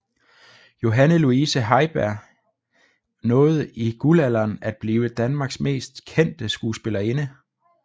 Johanne Luise Heiberg nåede i guldalderen at blive Danmarks mest kendte skuespillerinde